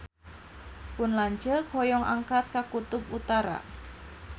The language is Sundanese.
Pun lanceuk hoyong angkat ka Kutub Utara